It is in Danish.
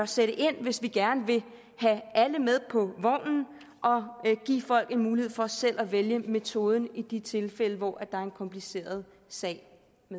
sætte ind hvis vi gerne vil have alle med på vognen og give folk en mulighed for selv at vælge metoden i de tilfælde hvor der er en kompliceret sag